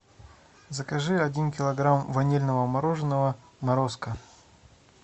закажи один килограмм ванильного мороженого морозко